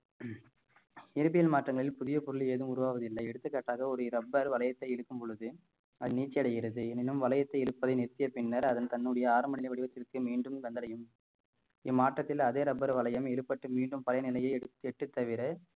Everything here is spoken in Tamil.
இயற்பியல் மாற்றங்களில் புதிய பொருள் எதுவும் உருவாவதில்லை எடுத்துக்காட்டாக ஒரு rubber வளையத்தை இழுக்கும் பொழுது அது நீழ்ச்சி அடைகிறது எனினும் வளையத்தை இழுப்பதை நிறுத்திய பின்னர் அதன் தன்னுடைய ஆரம்ப நிலை வடிவத்திற்கு மீண்டும் வந்தடையும் இம்மாற்றத்தில் அதே rubber வளையம் இழுபட்டு மீண்டும் பழைய நிலையை எட்டு தவிர